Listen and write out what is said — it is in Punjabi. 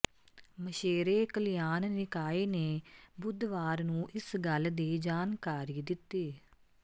ਮਛੇਰੇ ਕਲਿਆਣ ਨਿਕਾਏ ਨੇ ਬੁੱਧਵਾਰ ਨੂੰ ਇਸ ਗੱਲ ਦੀ ਜਾਣਕਾਰੀ ਦਿੱਤੀ